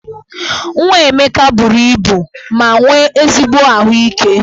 Nwa Emeka buru ibu ma nwee ezigbo ahụike.